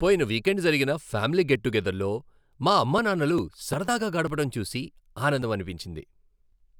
పోయిన వీకెండ్ జరిగిన family get టుగెదర్లో మా అమ్మానాన్నలు సరదాగా గడపడం చూసి ఆనందమనిపించింది.